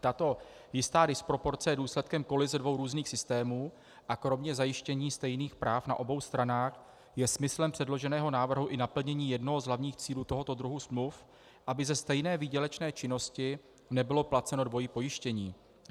Tato jistá disproporce je důsledkem kolize dvou různých systémů a kromě zajištění stejných práv na obou stranách je smyslem předloženého návrhu i naplnění jednoho z hlavních cílů tohoto druhu smluv, aby ze stejné výdělečné činnosti nebylo placeno dvojí pojištění.